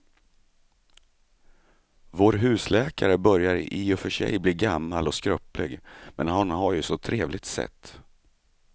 Vår husläkare börjar i och för sig bli gammal och skröplig, men han har ju ett sådant trevligt sätt!